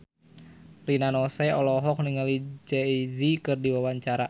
Rina Nose olohok ningali Jay Z keur diwawancara